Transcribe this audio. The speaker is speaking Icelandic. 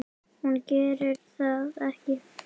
Hún gerir það ekki.